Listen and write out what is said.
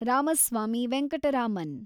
Ramaswamy Venkataraman